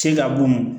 Se ka bugun